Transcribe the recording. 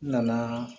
N nana